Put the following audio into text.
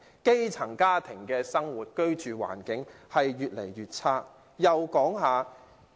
基層家庭的居住環境越來越差。